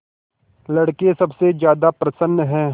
लड़के सबसे ज्यादा प्रसन्न हैं